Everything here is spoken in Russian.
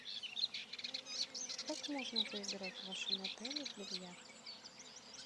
как можно поиграть в вашем отеле в бильярд